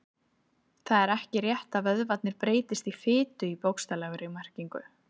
Það er ekki rétt að vöðvarnir breytist í fitu í bókstaflegri merkingu.